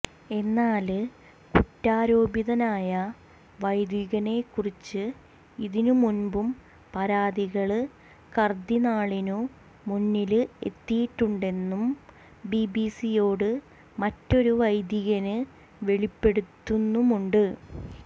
എന്നാല് കുറ്റാരോപിതനായ വൈദികനെ കുറിച്ച് ഇതിനു മുമ്പും പരാതികള് കര്ദിനാളിനു മുന്നില് എത്തിയിട്ടുണ്ടെന്നു ബിബിസിയോട് മറ്റൊരു വൈദികന് വെളിപ്പെടുത്തുന്നുമുണ്ട്